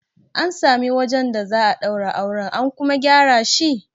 An sami wajen da za a daura auren, an kuma gyara shi?